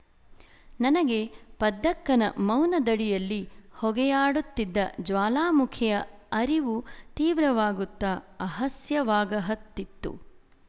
ನನಗೆ ಪದ್ದಕ್ಕನ ಮೌನದಡಿಯಲ್ಲಿ ಹೊಗೆಯಾಡುತ್ತಿದ್ದ ಜ್ವಾಲಾಮುಖಿಯ ಅರಿವು ತೀವ್ರವಾಗುತ್ತ ಅಹಸ್ಯವಾಗಹತ್ತಿತ್ತು